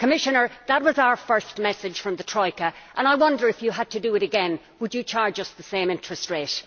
Commissioner, that was our first message from the Troika, and I wonder if you had to do it again, would you charge us the same interest rate?